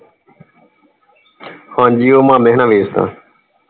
ਹਾਂਜੀ ਉਹ ਮਾਮੇ ਹੁਣਾ ਵੇਚ ਦਿੱਤਾ।